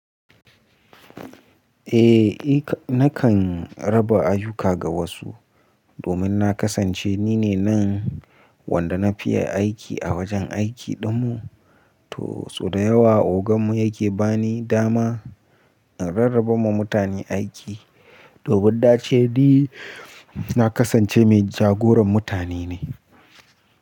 Eh, nakan raba ayyuka ga wasu domin na kasance nine nan wanda na fiye aiki a wajen aiki ɗinmu, to sau da yawa ogan mu yake bani dama in rarraba ma mutane aiki. Domin nace ni na kasance mai jagoran mutane ne.